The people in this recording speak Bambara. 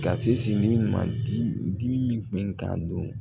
Ka se ni ma dimi ka don